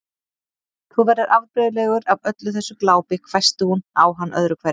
Þú verður afbrigðilegur af öllu þessu glápi hvæsti hún á hann öðru hverju.